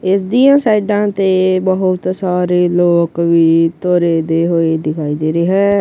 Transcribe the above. ਇਸ ਦੀਆਂ ਸਾਈਡਾਂ ਤੇ ਬਹੁਤ ਸਾਰੇ ਲੋਕ ਵੀ ਤੁਰੇ ਦੇ ਹੋਏ ਦਿਖਾਈ ਦੇ ਰਹੇ ਹੈ।